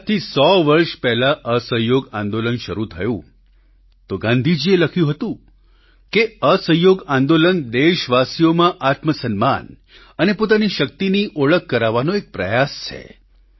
જ્યારે આજથી સો વર્ષ પહેલા અસહયોગ આંદોલન શરૂ થયું તો ગાંધીજીએ લખ્યું હતું કે અસહયોગ આંદોલન દેશવાસીઓમાં આત્મસન્માન અને પોતાની શક્તિની ઓળખ કરાવવાનો એક પ્રયાસ છે